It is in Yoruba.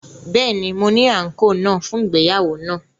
Bẹẹni, Mo ni anko naa fun ìgbéyàwó naa